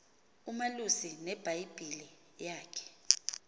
umalusi nebhayibhile yakhe